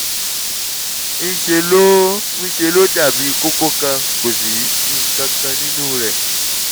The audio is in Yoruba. ń ṣe ló ń ṣe ló dàbí kókó kan kò sí nǹkan kan nínú rẹ̀